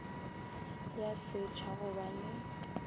ya setšha go ba le